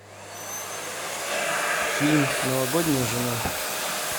фильм новогодняя жена